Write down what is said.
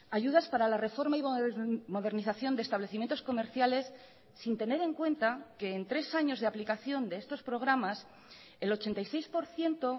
ayudas para la reforma y modernización de establecimientos comerciales sin tener en cuenta que en tres años de aplicación de estos programas el ochenta y seis por ciento